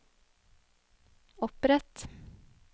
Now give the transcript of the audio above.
opprett